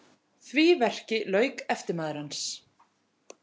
Því verki lauk eftirmaður hans